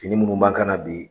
Fini munu b'an kan na bi